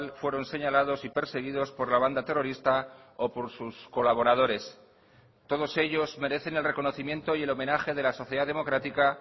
fueron señalados y perseguidos por la banda terrorista o por sus colaboradores todos ellos merecen el reconocimiento y el homenaje de la sociedad democrática